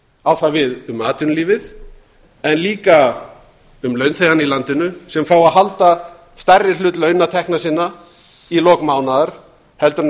á það við um atvinnulífið en líka um launþegana í landinu sem fá að halda stærri hlut launatekna sinna í lok mánaðar heldur en